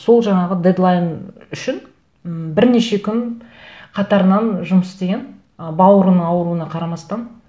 сол жаңағы дедлайн үшін м бірнеше күн қатарынан жұмыс істеген ы бауырының ауыруына қарамастан